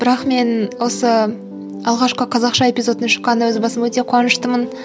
бірақ мен осы алғашқы қазақша эпизодтың шыққанына өз басым өте қуаныштымын